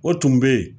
O tun bɛ yen